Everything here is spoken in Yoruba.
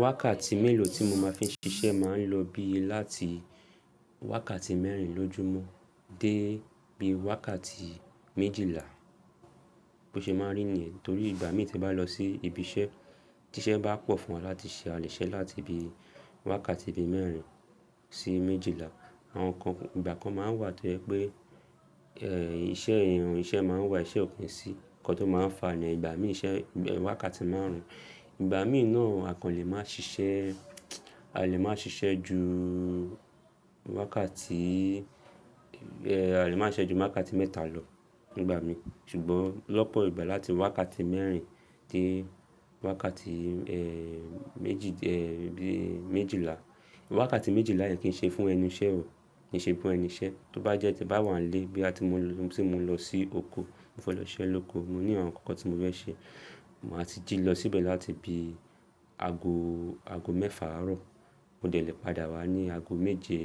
Wákàtí mélòó tí mo máa fi ń ṣiṣẹ́ máa ń lọ bí láti wákàtí mẹ́rin lójúmọ́ dé bí wákàtí méjìlá. Bí o ṣe máa rí niyẹ̀n. Nítorí ìgbà mì tí n bá lọ sí ibi iṣẹ́, tí iṣẹ́ bá pọ̀ fún wa láti ṣe, a lè ṣe láti bí wákàtí bí mẹ́rin sí méjìlá. Àwọn nǹkan, ìgbà kan máa wà tó jẹ pé, ẹ́, iṣẹ́ i, iṣẹ́ máa wà iṣẹ́ o ki n sí nǹkan tó máa ń fa ni ìgbà mí i iṣẹ́, wákàtí máarùn. Ìgbà mí náà, a kò lè máa ṣiṣẹ́, a lè máa ṣiṣẹ́ ju wákàtí, ẹ́, a lè máa ṣise ju wákàtí mẹ́ta lọ nígbà mí i. Ṣùgbọ́n lọ́pọ̀ ìgbà láti wákàtí mẹ́rin dé wákàtí, ẹ́, méjì, ẹ́, bí i méjìlá. Wákàtí méjìlá yẹn kì í ṣe fún ẹnu iṣẹ́ o, kì í ṣe fun ẹnu iṣẹ́. Tí ó bá jẹ́ tí bá wà nílé bí à ti mo lọ, tí mo lọ sí oko, mo fẹ́ lọ iṣẹ́ lóko, mo ní àwọn ǹkankan tí mo fẹ́ ṣe. Mo máa tí jí lọ síbẹ̀ láti bí ago, ago mẹ́fà àárọ̀, mo dẹ̀ lè padà wá ní ago méje